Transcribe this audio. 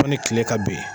Fo ni tile ka ben